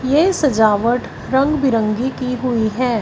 ये सजावट रंग बिरंगी की हुई है।